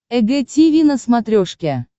эг тиви на смотрешке